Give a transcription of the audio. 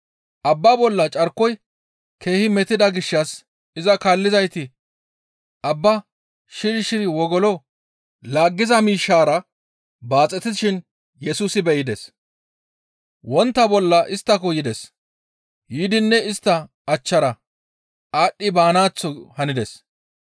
Abbaa bolla carkoy keehi metida gishshas iza kaallizayti abbaa shiri shiri wogolo laaggiza miishshaara baaxetishin Yesusi be7ides. Wontta bolla isttako yides; yiidinne istta achchara aadhdhi baanaaththo hanides.